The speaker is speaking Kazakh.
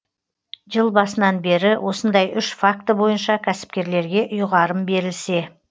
жыл басынан бері осындай үш факті бойынша кәсіпкерлерге ұйғарым берілсе